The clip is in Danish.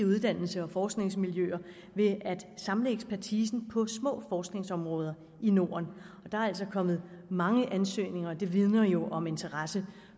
i uddannelses og forskningsmiljøer ved at samle ekspertisen på små forskningsområder i norden der er altså kommet mange ansøgninger og det vidner jo om interesse